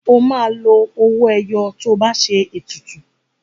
O máa lo owó ẹyọ tó bá ṣe ètùtù.